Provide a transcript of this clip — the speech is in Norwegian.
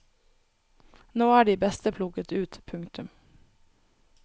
Nå er de beste plukket ut. punktum